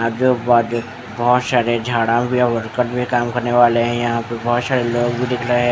अब जो बा जो बहुत सारे झाड़ा भी और वर्कर भी काम करने वाले है यहाँ पे बहुत सारे लोंग भी दिख रहे है ।